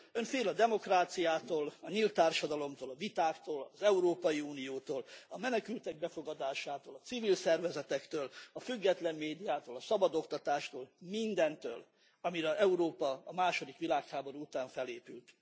Ön fél a demokráciától, a nyílt társadalomtól, a vitáktól, az Európai Uniótól, a menekültek befogadásától, a civil szervezetektől, a független médiától, a szabad oktatástól, mindentől, amire Európa a második világháború után felépült.